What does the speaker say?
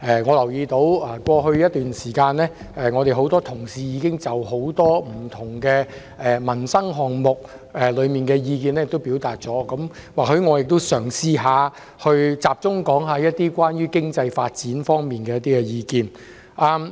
我留意到過去一段時間，多位議員同事已就多個不同民生項目表達意見，我嘗試集中討論經濟發展方面的意見。